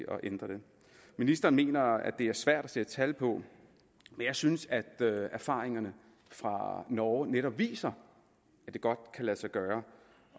at ændre det ministeren mener det er svært at sætte tal på men jeg synes erfaringerne fra norge netop viser at det godt kan lade sig gøre